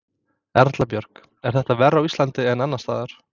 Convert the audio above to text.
Erla Björg: Er þetta verr á Íslandi en annars staðar?